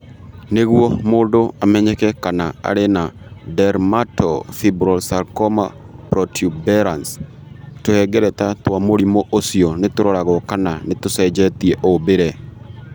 Nĩguo mũndũ amenyeke kana arĩ na dermatofibrosarcoma protuberans, tũhengereta twa mũrimũ ũcio nĩ tũroragũo kana nĩ tũcenjetie ũmbĩre.